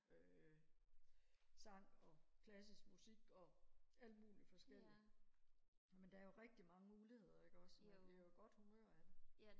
øh sang og klassisk musik og alt muligt forskelligt men der er jo rigtig mange muligheder ikke også man bliver jo i godt humør af det